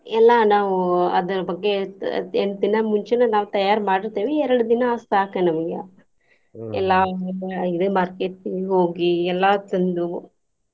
ಎಲ್ಲಾ ನಾವ್ ಅದರ ಬಗ್ಗೆ ಎಂಟ ದಿನಾ ಮುಂಚೆನೆ ನಾವ್ ತಯಾರಿ ಮಾಡಿರ್ತೆವಿ ಎರ್ಡ್ ದಿನಾ ಸಾಕ ನಮ್ಗೆ ಎಲ್ಲಾ ಇದೆ market ಗೆ ಹೋಗಿ ಎಲ್ಲಾ ತಂದು.